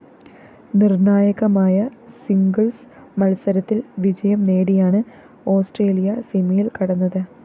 നിര്‍ണായകമായ singles മത്സരത്തില്‍ വിജയം നേടിയാണ് ഓസ്‌ട്രേലിയ സെമിയില്‍ കടന്നത്